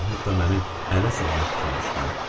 Onlar hətta məni ələ salmaq fikrinə düşdülər.